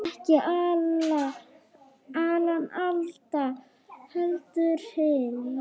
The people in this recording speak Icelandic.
Ekki Alan Alda, heldur hinn